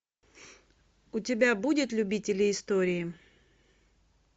у тебя будет любители истории